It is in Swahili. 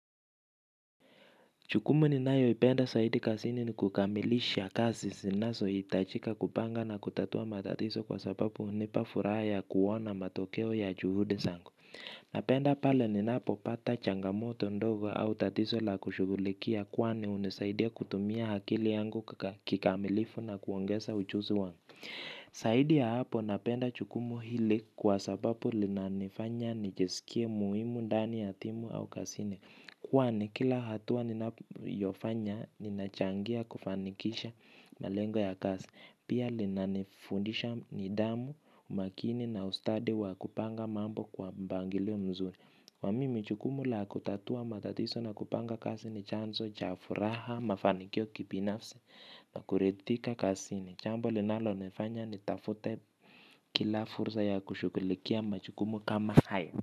Jukumu ninayo ipenda zaidi kazini ni kukamilisha kazi zinazo hitajika kupanga na kutatua matatizo kwa sababu hunipa furaha kuona matokeo ya juhudi zangu. Napenda pale ninapopata changamoto ndogo au tatizo la kushughulikia kwani hunisaidia kutumia akili yangu kikamilifu na kuongeza ujuzi wangu. Zaidi ya hapo napenda jukumu hili kwa sababu linanifanya nijisikie muhimu ndani ya timu au kazini. Kwani kila hatua ninayofanya ninachangia kufanikisha malengo ya kazi. Pia linanifundisha nidhamu, umakini na ustadi wa kupanga mambo kwa mpangilio mzuri. Na mimi jukumu la kutatua matatizo na kupanga kazi ni chanzo cha furaha mafanikio kibinafsi. Nakuridhika kazini jambo linalonifanya nitafute kila fursa ya kushughulikia majukumu kama hayo.